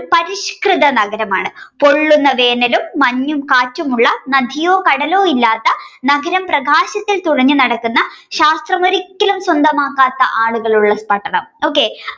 പരിഷ്കൃത നഗരമാണ് പൊള്ളുന്ന വേനലും മഞ്ഞും കാറ്റുമുള്ള നദിയോ കടലോ ഇല്ലാത്ത നഗരപ്രകാശത്തിൽ തുറിഞ്ഞു നടക്കുന്ന ശാസ്ത്രമൊരിക്കലും സ്വന്തമാക്കാത്ത ആളുകളുള്ള പട്ടണം okay